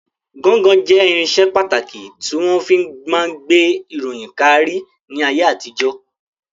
Gọ́ńgọ jẹ́ irinṣẹ́ pàtàkì tí wọ́n fi máa ń gbé ìròyìn káárí ní ayé àtijọ́.